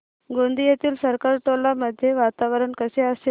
गोंदियातील सरकारटोला मध्ये वातावरण कसे असेल